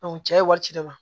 cɛ ye wari ci ne ma